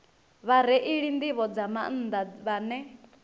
vhareili nḓivho nga maanḓa vhane